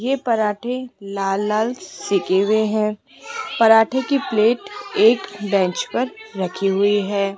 ये परांठे लाल लाल सीके हुएं हैं पराठे की प्लेट एक बेंच पर रखी हुई है।